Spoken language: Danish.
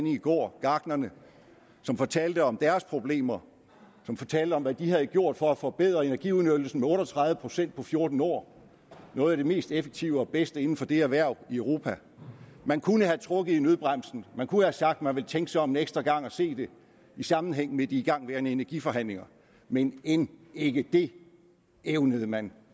i går gartnerne som fortalte om deres problemer og som fortalte om hvad de havde gjort for at forbedre energiudnyttelsen med otte og tredive procent på fjorten år noget af det mest effektive og bedste inden for det erhverv i europa man kunne have trukket i nødbremsen man kunne have sagt at man ville tænke sig om en ekstra gang og se det i sammenhæng med de igangværende energiforhandlingerne men end ikke det evnede man